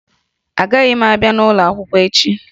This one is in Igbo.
Agaghị m abịa ụlọ akwụkwọ echi